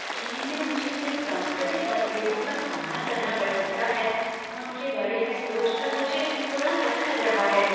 चीन में मुझे जिन सांस्कृतिक मतभेदों का सामना करना पड़ सकता है, उनके बारे में सोच कर मुझे थोड़ा डर लग रहा है।